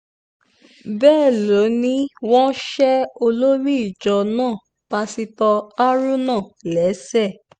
bẹ́ẹ̀ ló ní wọ́n ṣe olórí ìjọ náà pásítọ̀ haruna léṣe